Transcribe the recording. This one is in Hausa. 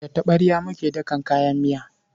Da taɓarya muke dakan kayan miya.